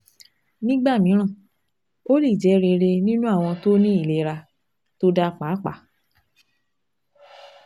Nígbà mìíràn, ó lè jẹ́ rere nínú àwọn tó ní ìlera tó dáa pàápàá